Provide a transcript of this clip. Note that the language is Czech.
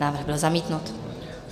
Návrh byl zamítnut.